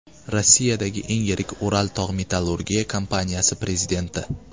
Rossiyadagi eng yirik Ural tog‘-metallurgiya kompaniyasi prezidenti.